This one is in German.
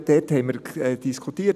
Dort haben wir diskutiert.